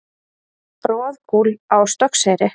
Roðgúll á Stokkseyri.